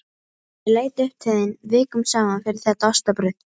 Ég leit upp til þín vikum saman fyrir þetta ostabrauð.